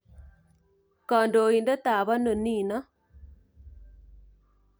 Kandoindet ap ano niin?